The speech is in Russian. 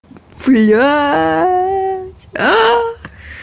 блять